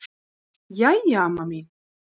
Jæja amma mín.